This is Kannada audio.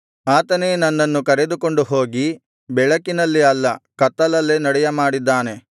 ಆತನೇ ನನ್ನನ್ನು ಕರೆದುಕೊಂಡು ಹೋಗಿ ಬೆಳಕಿನಲ್ಲಿ ಅಲ್ಲ ಕತ್ತಲಲ್ಲೇ ನಡೆಯಮಾಡಿದ್ದಾನೆ